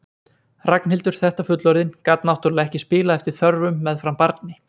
Ragnhildur þetta fullorðin gat náttúrlega ekki spilað eftir þörfum meðfram barni.